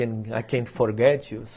I can't forget you.